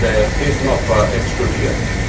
Die Zahl der Krisenopfer explodiert.